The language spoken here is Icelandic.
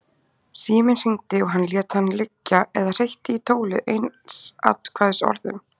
Síminn hringdi og hann lét hann liggja eða hreytti í tólið einsatkvæðisorðum.